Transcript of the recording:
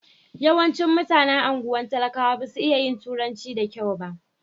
Yawancin mutanen anguwan talakawa ba su iya yin turanci da kyau ba.